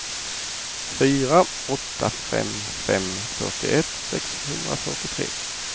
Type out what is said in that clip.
fyra åtta fem fem fyrtioett sexhundrafyrtiotre